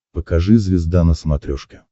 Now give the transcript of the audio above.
покажи звезда на смотрешке